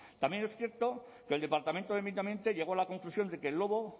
también es cierto que el departamento de medio ambiente llegó a la conclusión de que el lobo